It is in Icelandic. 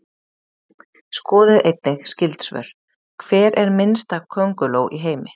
Skoðið einnig skyld svör: Hver er minnsta könguló í heimi?